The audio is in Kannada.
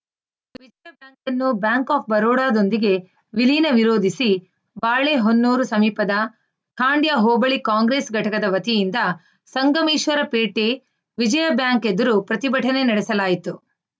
ಬ್ಯಾಂಕ್‌ ಆಫ್‌ ಬರೋಡದೊಂದಿಗೆ ವಿಲೀನ ವಿರೋಧಿಸಿ ಬಾಳೆಹೊನ್ನೂರು ಸಮೀಪದ ಖಾಂಡ್ಯ ಹೋಬಳಿ ಕಾಂಗ್ರೆಸ್‌ ಘಟಕದ ವತಿಯಿಂದ ಸಂಗಮೇಶ್ವರಪೇಟೆ ವಿಜಯ ಬ್ಯಾಂಕ್‌ ಎದುರು ಪ್ರತಿಭಟನೆ ನಡೆಸಲಾಯಿತು